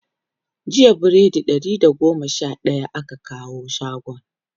jiya biredi Ɗari da goma Sha daya aka kawo shagon